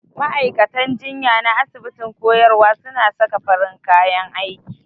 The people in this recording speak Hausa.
Ma'aikatan jinya na asibitin koyarwa suna saka farin kayan aiki.